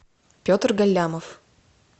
петр галямов